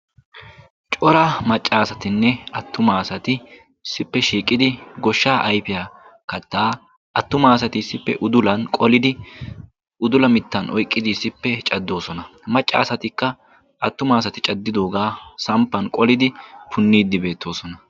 Cora macca asatinne attuma asati issippe shiiqidi goshshaa ayfiya kattaa attuma asati udulan qolidi udula mittan oyqqiddi issippe caddoosona. Macca asatikka attuma asati caddidoogaa samppan qolidi punniiddi beettoosona.